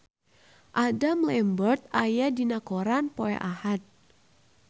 Adam Lambert aya dina koran poe Ahad